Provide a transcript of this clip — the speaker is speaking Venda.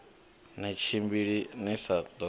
ni tshimbili ni sa ḓo